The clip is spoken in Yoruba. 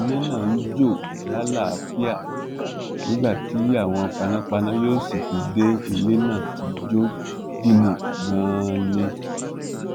iná náà ń jó làlàáfíà nígbà tí àwọn panápaná yóò sì fi dé ilé náà ti jó jìnnà ganan ni